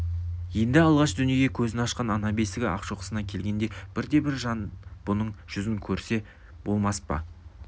енді алғаш дүниеге көзін ашқан ана бесігі ақшоқысына келгенде бірде-бір жан бұның жүзін көрсе болмас па